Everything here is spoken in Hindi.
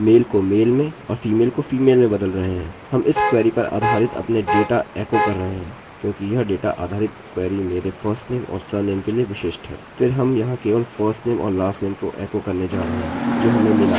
फिर हम यहाँ केवल firstname और lastname को एकोechoकरने जा रहे हैं जो हमें मिला है जो मेरा फर्स्टनेमfirstnameऔर lastname है लेकिन यहाँ alex को firstname में बदल कर जोकि यहाँ है